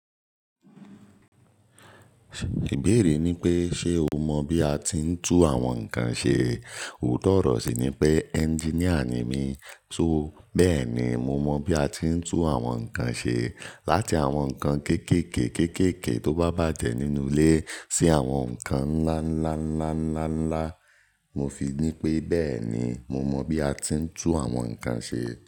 Ìbéèrè ni pé ṣe o mọ bí a ti ń tú àwọn nǹkan ṣe? Òótọ́ ọ̀rọ̀ sì ni pé engineer ni mí, so bẹ́ẹ̀ ni mo mọ bí a ti ń tú àwọn nǹkan ṣe. Láti àwọn nǹkan kéékèèké kéékèèké tó bá bàjẹ́ nínú ilé sí àwọn nǹkan ńlá ńlá ńlá ńlá ńlá, mo fi ní pé bẹ́ẹ̀ ni, mo mọ bí a ti ń tú àwọn nǹkan ṣe.